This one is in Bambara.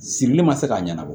Sirili ma se ka ɲɛnabɔ